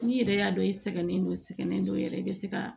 N'i yɛrɛ y'a dɔn i sɛgɛnnen don sɛgɛnen don yɛrɛ i be se ka